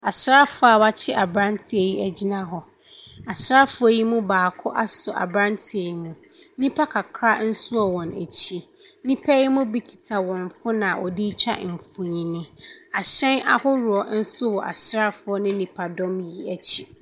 Asrafoɔ a a wakye abranteɛ yi gyina hɔ. Asrafoɔ yi mu baako asɔ abrateɛ yi mu. Nnipa kakra nso wɔ wɔn akyi. Nnipa yi bi kita wɔn phone a wɔde retwa mfoni. Ahyɛn ahoroɔ wɔ asrafoɔ yi nennipadɔm akyi.